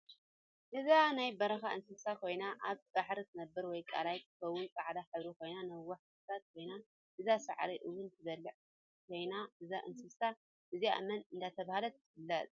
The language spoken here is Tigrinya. እዝኣ ናይ በረካ እንስሳ ኮይና ኣብ ባሕሪ ትነብር ወይ ቃለይ ክትከውን ፃዕዳ ሕብሪ ኮይና ነዋሕ ክሳዳ ኮይና እዝኣ ሳዕሪ እውን ትብልዕ ኮይና እዛ እንስሳ እዝኣ መን እደተበሃለት ትፍለጥ?